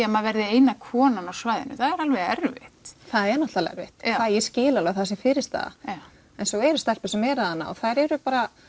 að maður verði eina konan á svæðinu það er alveg erfitt það er náttúrulega erfitt ég skil alveg að það sé fyrirstaða en svo eru stelpur sem eru þarna og þær eru